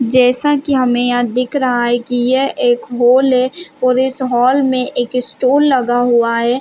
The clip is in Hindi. जैसा की हमे यहाँ दिख रहा है की यह एक हॉल है और इस हॉल में एक स्टोर लगा हुआ है।